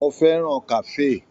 Mó fẹràn kafe.